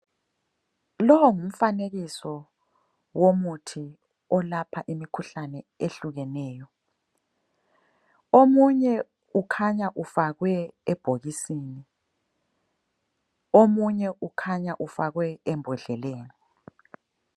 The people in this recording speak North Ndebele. Lo ngumfanekiso ngumfanekiso womuthi olapha imikhuhlane ehlukeneyo. Omunye ukhanya ufakwe ebhokisini, omunye ukhanya ufakwe embodleleni.